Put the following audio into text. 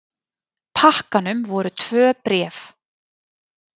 pakkanum voru tvö bréf.